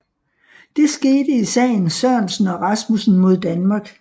Det skete i sagen Sørensen og Rasmussen mod Danmark